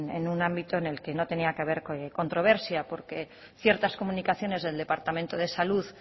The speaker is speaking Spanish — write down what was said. en un ámbito en el que no tenía que haber controversia porque ciertas comunicaciones del departamento de salud